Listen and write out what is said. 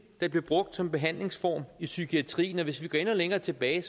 der blev brugt som behandlingsform i psykiatrien og hvis vi går endnu længere tilbage